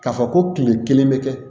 K'a fɔ ko kile kelen bɛ kɛ